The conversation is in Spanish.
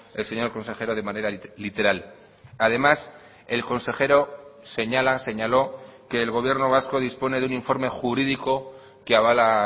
el señor consejero de manera literal además el consejero señala señaló que el gobierno vasco dispone de un informe jurídico que avala